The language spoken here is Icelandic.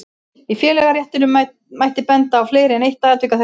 Í félagaréttinum mætti benda á fleiri en eitt tilvik af þessu tagi.